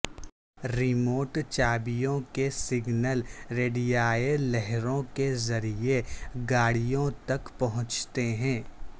remote چابیوں کے signal ریڈیائی لہروں کے ذریعے گاڑیوں تک پہنچتے ہیں